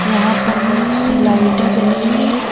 यहां पर बहुत सी लाइटें जली हुई है।